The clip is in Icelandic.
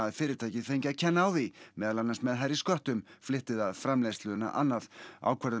fyrirtækið fengi að kenna á því meðal annars með hærri sköttum flytti það framleiðsluna annað ákvörðun